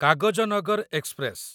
Kagaznagar express